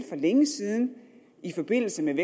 for længe siden i forbindelse med